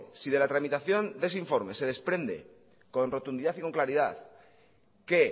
si de la tramitación de ese informe se desprende con rotundidad y con claridad que